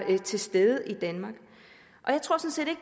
til stede i danmark